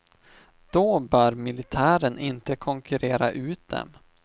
Då bör militären inte konkurrera ut dem.